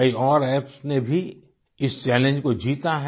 कई और एप्स ने भी इस चैलेंज को जीता है